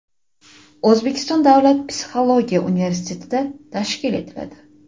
O‘zbekiston davlat psixologiya universiteti tashkil etiladi.